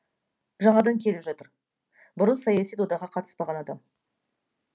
жаңадан келіп жатыр бұрын саяси додаға қатыспаған адам